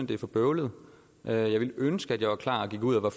det er for bøvlet jeg ville ønske at jeg var klar og gik ud og